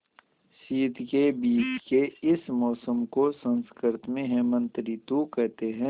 शीत के बीच के इस मौसम को संस्कृत में हेमंत ॠतु कहते हैं